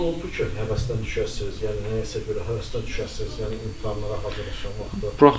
Heç elə olubdu ki, həvəsdən düşəsiz, yəni nəyəsə bir həvəsdən düşəsiz, yəni imtahanlara hazırlaşan vaxtı?